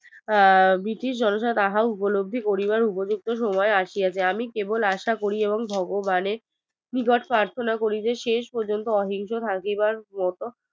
আহ British জনসাধারণ তাহার উপলব্ধি করার উপযুক্ত সময় আসিয়াছে আমি কেবল আশা করি এবং ভগবানের কাছে প্রার্থনা করি যে শেষ পর্যন্ত অহিংস থাকিবার মতো